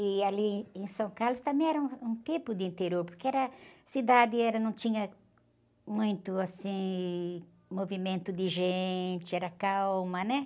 E ali em São Carlos também era um, um tipo de interior, porque era, a cidade era, não tinha, assim, muito movimento de gente, era calma, né?